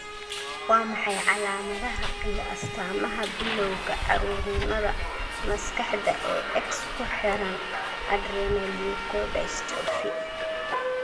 Waa maxay calaamadaha iyo astaamaha bilawga caruurnimada maskaxda ee X ku xidhan adrenoleukodystrophy?